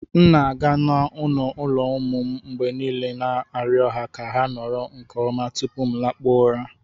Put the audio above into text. M na-aga n'ọnụ ụlọ ụmụ m mgbe niile na-arịọ ha ka ha nọrọ nke ọma tupu m lakpuo ụra